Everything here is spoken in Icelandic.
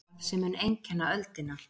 Samstarf sem mun einkenna öldina